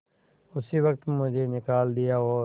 उसी वक्त मुझे निकाल दिया और